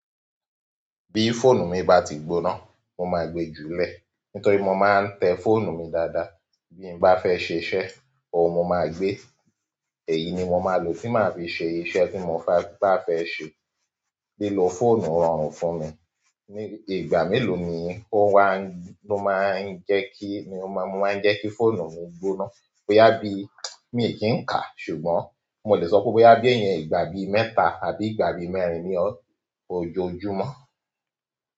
Bí fóònù mi bá ti gbóná, mo máa gbe jùlẹ́ nítorí mo máa ń tẹ fóònù mi dáadáa. Bí n bá fẹ́ ṣẹ iṣẹ́, òun mo máa gbé. Èyí ni mo máa lò tí màá fi ṣe iṣẹ̀ tí mo bá fẹ́ ṣe. Lílo fóònù rọrùn fún mi. Ni ìgbà mélòó ni ó máa ń jẹ́ kí fóònù mi gbóná? Ó yá bí mi kì n ka, ṣùgbọ́n mo lè sọ pé boyá bí ìgbà bí mẹ́ta àbí ìgbà bí mẹ́rin ní ojoojúmọ́.